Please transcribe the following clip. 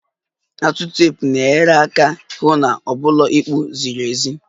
The atụ teepu na-enyere hụ na ọ bụla ịkpụ ziri ezi